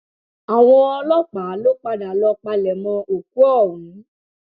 àwọn ọlọpàá ló padà lọọ pálẹmọ òkú ọhún